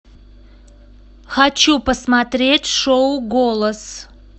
хочу посмотреть шоу голос